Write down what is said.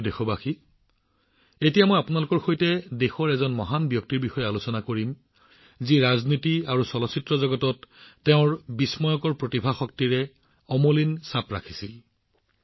মোৰ মৰমৰ দেশবাসীসকল মই এতিয়া আপোনালোকৰ সৈতে দেশৰ এক মহান ব্যক্তিত্বৰ বিষয়ে আলোচনা কৰিবলৈ গৈ আছো যিয়ে ৰাজনীতি আৰু চলচ্চিত্ৰ উদ্যোগত তেওঁৰ বিস্ময়কৰ প্ৰতিভাৰ শক্তিৰ জৰিয়তে এক অমলিন সাঁচ ৰাখিছে